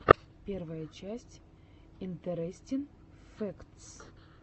первая часть интерестин фэктс